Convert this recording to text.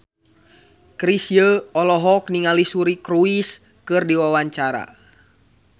Chrisye olohok ningali Suri Cruise keur diwawancara